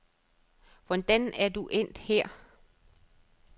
Hvordan er du endt her?